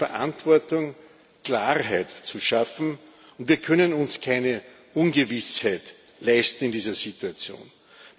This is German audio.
Es hat die Verantwortung, Klarheit zu schaffen, und wir können uns keine Ungewissheit in dieser Situation leisten.